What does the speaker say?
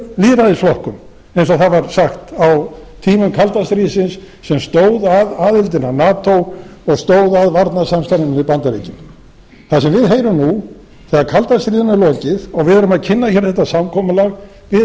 lýðræðisflokkum eins og það var sagt á tímum kalda stríðsins sem stóð að aðildinni að nato og stóð að varnarsamstarfinu við bandaríkin það sem á heyrum nú þegar kalda stríðinu er lokið og við erum að kynna hér þetta samkomulag við